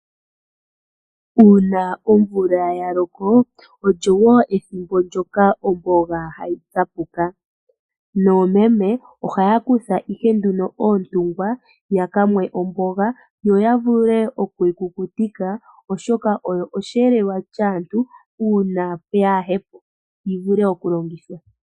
Uuna omvula ya loko, olyo wo ethimbo ndyoka omboga hayi mene. Noomeme ohaya kutha ihe oontungwa ya ka mwe omboga yo ya vule okuyi kukutika, oshoka oyo osheelelwa shaantu uuna yaa he po yi vule okulongithwa.